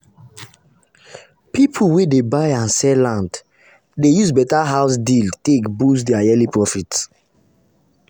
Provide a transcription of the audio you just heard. people wey dey buy and sell land dey use better house deal take boost their yearly profit.